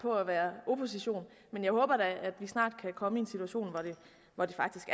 på at være opposition men jeg håber da at vi snart kan komme i en situation hvor det faktisk